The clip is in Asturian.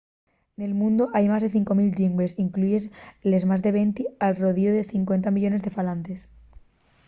nel mundu hai más de 5 000 llingües incluyíes les más de venti con al rodiu 50 millones de falantes